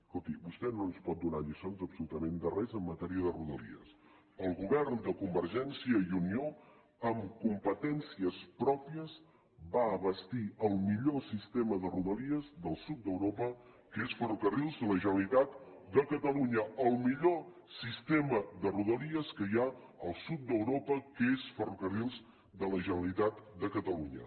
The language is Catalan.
escolti vostè no ens pot donar lliçons absolutament de res en matèria de rodalies el govern de convergència i unió amb competències pròpies va bastir el millor sistema de rodalies del sud d’europa que és ferrocarrils de la generalitat de catalunya el millor sistema de rodalies que hi ha al sud d’europa que és ferrocarrils de la generalitat de catalunya